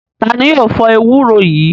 Ta ni yóò fọ ewúro yìí?